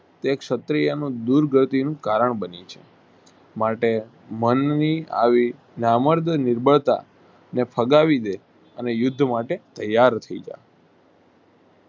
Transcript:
એક ક્ષત્રિયનું દુર્ગતિનું કારણ બન્યું છે. માટે મનની આવી નામર્દ નિર્બળતા ને ફગાવીદે અને યુદ્ધ માટે ત્યાર થઇ જાવ.